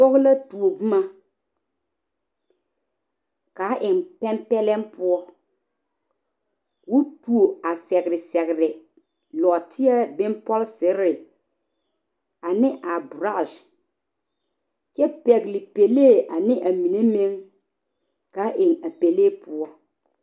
pɔge la tuo boma kaa eng pɛnpɛlɛm poɔ koo tuo a sɛgre sɛgre nɔɔteɛ bompɔlseree ane a boraase kyɛ pɛgl3 pɛlee ane a mine meng kaa eng a pɛlee poɔ